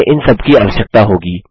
हमें इन सबकी आवश्यकता होगी